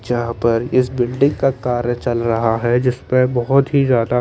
जहाँ पर इस बिल्डिंग का कार्य चल रहा हैं जिसपे बहुत ही ज्यादा--